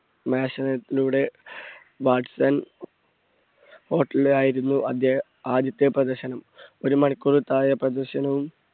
ആയിരുന്നു ആദ്യ~ആദ്യത്തെ പ്രദർശനം. ഒരു മണിക്കൂറിൽ താഴെ പ്രദർശനം